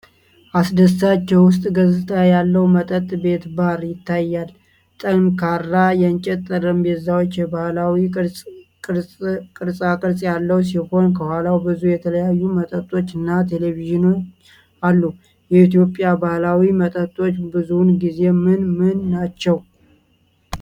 አስደሳች የውስጥ ገጽታ ያለው መጠጥ ቤት (ባር) ይታያል። ጠንካራ የእንጨት ጠረጴዛው የባህላዊ ቅርጽ ቅርጻቅርጽ ያለው ሲሆን፣ ከኋላው ብዙ የተለያዩ መጠጦች እና ቴሌቪዥን አሉ። የኢትዮጵያ ባህላዊ መጠጦች ብዙውን ጊዜ ምን ምን ናቸው?